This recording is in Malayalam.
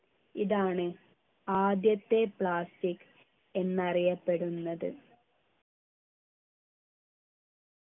ഇതാണ് ആദ്യത്തെ plastic എന്നറിയപ്പെടുന്നത്